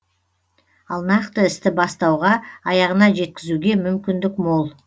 ал нақты істі бастауға аяғына жеткізуге мүмкіндік мол